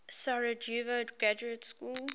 sarajevo graduate school